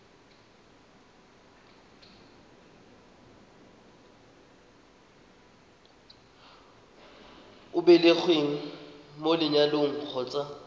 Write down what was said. o belegweng mo lenyalong kgotsa